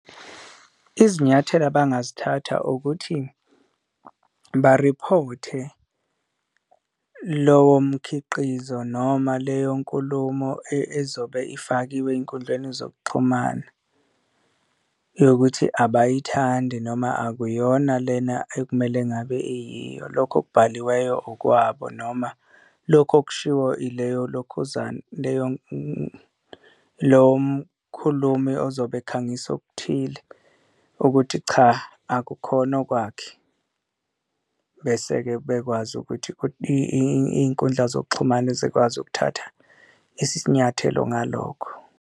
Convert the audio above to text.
Izinyathelo abangazithatha ukuthi bariphothe lowo mkhiqizo noma leyo nkulumo ezobe ifakiwe ey'nkundleni zokuxhumana yokuthi abayithandi noma akuyona lena ekumele ngabe iyiyo, lokho okubhaliweyo okwabo noma lokho okushiwo ileyo lokhuzana ileyo lowo mkhulumi ozobe ekhangisa okuthile, ukuthi cha, akukhona okwakhe. Bese-ke bekwazi ukuthi iy'nkundla zokuxhumana zikwazi ukuthatha isinyathelo ngalokho.